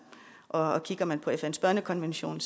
og kigger man på fns børnekonvention